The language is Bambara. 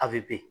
A bɛ ben